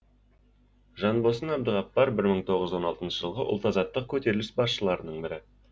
жанбосын әбдіғапар бір мың тоғыз жүз он алтыншы жылғы ұлт азаттық көтеріліс басшыларының бірі